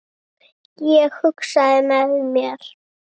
Ég hugsaði með mér